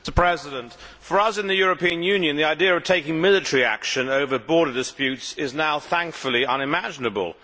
Mr President, for us in the European Union, the idea of taking military action over border disputes is now thankfully unimaginable.